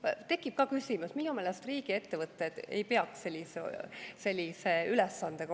Mul tekib ka küsimus, minu meelest ei peaks riigiettevõtted olema sellise ülesandega.